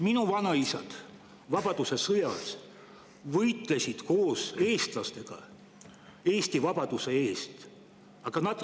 Minu vanaisad võitlesid vabadussõjas koos eestlastega Eesti vabaduse eest.